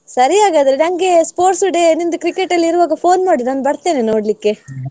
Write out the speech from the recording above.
ಸರಿ ಹಾಗಾದ್ರೆ. ನಂಗೆ sports day ನಿಮ್ದು cricket ಅಲ್ಲಿರುವಾಗ phone ಮಾಡು ನಾನ್ ಬರ್ತೇನೆ ನೋಡ್ಲಿಕ್ಕೆ.